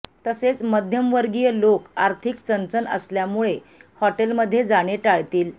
तसेच मध्यमवर्गीय लोक आर्थिक चणचण असल्यामुळे हॉटेलमध्ये जाणे टाळतील